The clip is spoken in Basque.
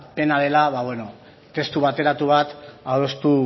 pena dela testu bateratu bat adostu